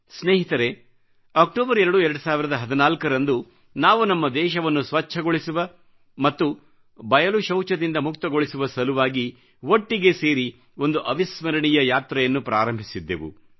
ಸ್ನೇಹಿತರೇ ಅಕ್ಟೋಬರ್ 2 2014ರಂದು ನಾವು ನಮ್ಮ ದೇಶವನ್ನು ಸ್ವಚ್ಚಗೊಳಿಸುವ ಮತ್ತು ಬಯಲು ಶೌಚದಿಂದ ಮುಕ್ತಗೊಳಿಸುವ ಸಲುವಾಗಿ ಒಟ್ಟಿಗೆ ಸೇರಿ ಒಂದು ಅವಿಸ್ಮರಣೀಯ ಯಾತ್ರೆಯನ್ನು ಪ್ರಾರಂಭಿಸಿದ್ದೆವು